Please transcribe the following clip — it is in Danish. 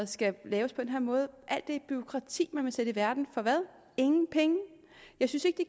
skal laves på den her måde alt det bureaukrati man vil sætte i verden for hvad ingen penge jeg synes ikke